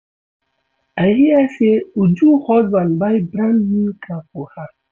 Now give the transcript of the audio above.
I hear say Uju husband buy brand new car for her